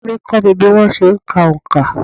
Ìyá à mí kó mi bí wọ́n se n ka onkà